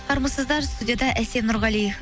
армысыздар студияда әсем нұрғали